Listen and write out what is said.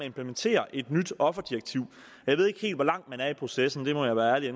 implementere et nyt offerdirektiv jeg ved ikke helt hvor langt man er i processen det må jeg være ærlig at